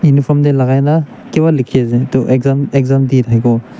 Uniform tey lakai na kebah lekhe ase etu exam exam de thakebo.